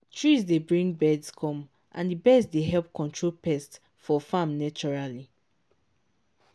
trees dey bring birds come and the birds dey help control pests for farm naturally.